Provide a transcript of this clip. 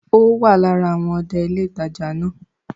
Ó wà lára àwọn ọdẹ ilé ìtajà náà